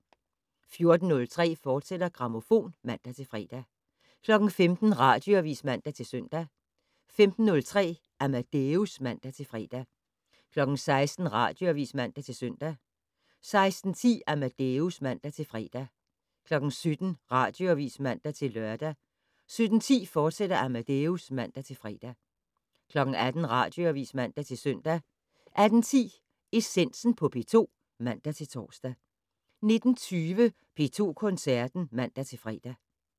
14:03: Grammofon, fortsat (man-fre) 15:00: Radioavis (man-søn) 15:03: Amadeus (man-fre) 16:00: Radioavis (man-søn) 16:10: Amadeus (man-fre) 17:00: Radioavis (man-lør) 17:10: Amadeus, fortsat (man-fre) 18:00: Radioavis (man-søn) 18:10: Essensen på P2 (man-tor) 19:20: P2 Koncerten (man-fre)